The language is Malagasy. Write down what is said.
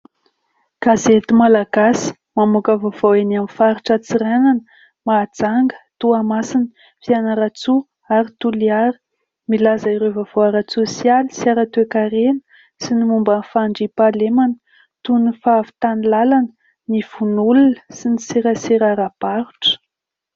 Gazety Malagasy mamoaka vaovao eny amin'ny faritra Antsiranana, Mahajanga, Toamasina, Fianarantsoa ary Toliara. Milaza ireo vaovao ara-tsosialy sy ara-toekarena sy ny momba ny fandriampahalemana toy ny fahavitan'ny lalana, ny vono olona sy ny serasera ara-barotra.